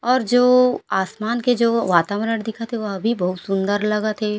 और जो आसमान के जो वातावरण दिखत हे वो भी बहुत सुन्दर लगत हे।